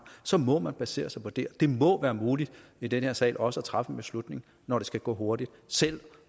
så må man basere sig på det og det må være muligt i den her sal også at træffe en beslutning når det skal gå hurtigt selv